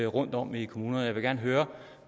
rundtom i kommunerne jeg vil gerne høre